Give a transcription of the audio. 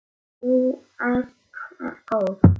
Þú ert góð!